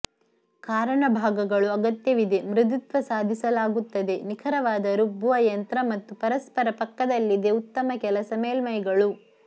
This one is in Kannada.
ಕಾರಣ ಭಾಗಗಳು ಅಗತ್ಯವಿದೆ ಮೃದುತ್ವ ಸಾಧಿಸಲಾಗುತ್ತದೆ ನಿಖರವಾದ ರುಬ್ಬುವ ಯಂತ್ರ ಮತ್ತು ಪರಸ್ಪರ ಪಕ್ಕದಲ್ಲಿದೆ ಉತ್ತಮ ಕೆಲಸ ಮೇಲ್ಮೈಗಳು